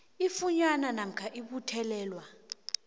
ifunyanwa namkha ibuthelelwa